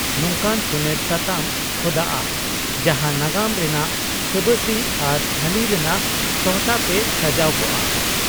ᱱᱚᱝᱠᱟᱱ ᱥᱚᱱᱮᱨ ᱥᱟᱛᱟᱢ ᱠᱷᱚᱫᱟᱜᱼᱟ, ᱡᱟᱦᱟᱸ ᱱᱟᱜᱟᱢ ᱨᱮᱱᱟᱜ ᱥᱟᱵᱥᱤ ᱟᱨ ᱦᱟᱹᱞᱤ ᱨᱮᱱᱟᱜ ᱥᱟᱦᱴᱟ ᱛᱮ ᱥᱟᱡᱟᱣ ᱠᱚᱜᱼᱟ ᱾